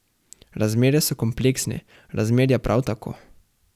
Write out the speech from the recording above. Razmere so kompleksne, razmerja prav tako.